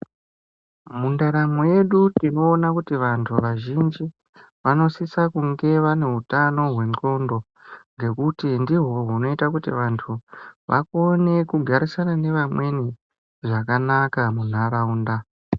Mundaramo yedu tinoona kuti vantu vazhinji vanosisa kunge vane utano hwendxondo ngekuti ndihwo hunoita kuti vantu vakone kugarisana nevamweni zvakanaka munharaunda.